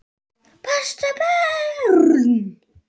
Passa börn?